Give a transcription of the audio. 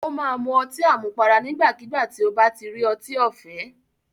Ó máa mu ọtí àmupara nígbàkígbà tí ó bá ti rí ọtí ọ̀fẹ́.